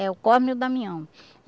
É o Cosme e o Damião